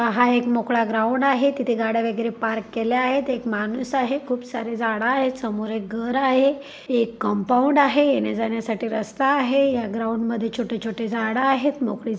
हा एक मोकळा ग्राऊंड आहे तिथे गाड्या वगैरे पार्क केल्या आहेत एक माणूस आहे खूप सारे झाड आहेत समोर एक घर आहे एक कंपाऊंड आहे येण्याजाण्यासाठी रस्ता आहे या ग्राऊंड मध्ये छोटे छोटे झाड आहेत. मोकळी--